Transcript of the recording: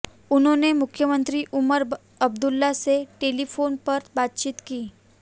उन्होंने मुख्यमंत्री उमर अब्दुल्ला से टेलीफोन पर बातचीत की